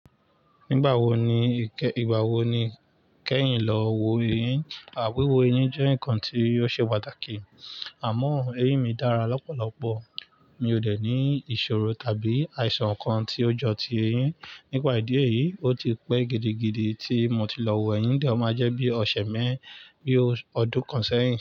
Nígbà wo ni, ìgbà wo ni kẹ́yìn lọ wo eyín? À wíwọ eyín jẹ́ nǹkan tí óòl ṣe pàtàkì. Àmọ́, eyín mi dára lọ́pọ̀lọpọ̀. Mi ò dẹ̀ ní ìṣòro tàbí àìsàn kan tí ó jọ ti eyín. Nípa ìdí èyí, ó ti pẹ́ gidigidi tí mo ti lọ wo ẹyin, díẹ̀ o máa jẹ́ bí ọṣẹ̀ mẹ́rin bí ó ọdún kan sẹ́yìn.